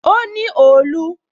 O ní òòlù